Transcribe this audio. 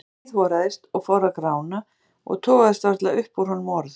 Hann hríðhoraðist og fór að grána og togaðist varla upp úr honum orð.